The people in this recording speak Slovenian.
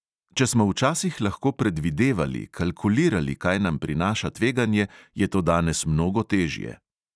Če smo včasih lahko predvidevali, kalkulirali, kaj nam prinaša tveganje, je to danes mnogo težje.